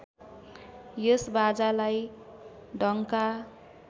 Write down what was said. यस बाजालाई डङ्का